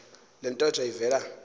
le ntetho ivela